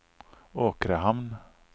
Åkrehamn